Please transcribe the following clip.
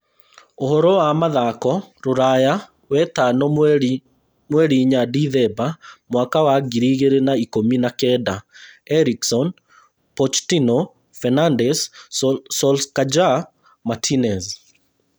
Ũhoro wa mathako rũraya wetano mweri inya Dithemba mwaka wa ngiri igĩrĩ na ikũmi na kenda: Eriksen, Pochettino, Fernandes, Solskjaer, Martinez